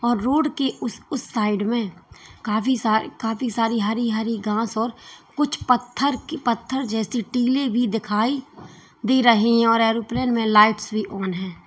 और रोड के उस उस साइड में काफी सारी काफी सारी हरी हरी घास और कुछ पत्थर पत्थर जैसी टीले भी दिखाई दे रहे और एयरोप्लेन में लाइट्स भी ऑन है।